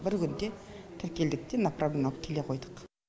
бір күнде тіркелдік те направление алып келе қойдық